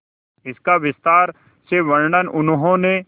इसका विस्तार से वर्णन उन्होंने